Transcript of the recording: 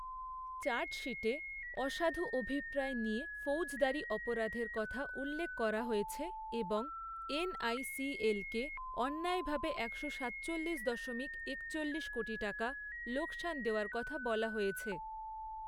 চার্জশিটে অসাধু অভিপ্রায় নিয়ে ফৌজদারি অপরাধের কথা উল্লেখ করা হয়েছে এবং এন.আই.সি.এল কে অন্যায়ভাবে একশো সাতচল্লিশ দশমিক একচল্লিশ কোটি টাকা লোকসান দেওয়ার কথা বলা হয়েছে।